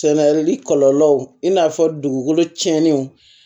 Sɛnɛli kɔlɔlɔw i n'a fɔ dugukolo tiɲɛnenw